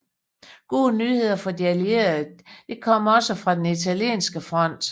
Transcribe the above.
Gode nyheder for de allierede kom der også fra den italienske front